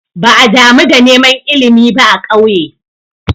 Ba'a damu da neman ilimi ba a ƙauye.